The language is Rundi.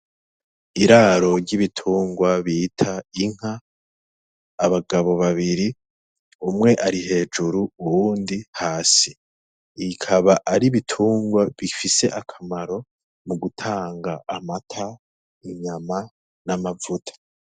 Iraro ry'ibitungwa bita Inka abagabo babiri umwe ari hejuru uwundi hasi, ikaba ar'ibitungwa bifise akamaro mu gutanga amata, inyama, n'amavuta.